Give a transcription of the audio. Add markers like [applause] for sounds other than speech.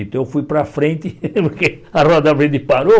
Então eu fui para frente [laughs] porque a roda [unintelligible] parou.